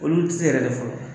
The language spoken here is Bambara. Olu ti se yɛrɛ de fɔlɔ.